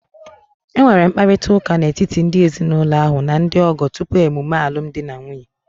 E nwere mkparịrịta ụka n'etiti ndị ezinụlọ ahụ na ndị ọgọ tupu emume alumdi na nwunye